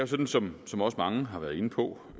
sådan som også mange har været inde på